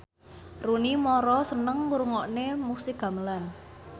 Rooney Mara seneng ngrungokne musik gamelan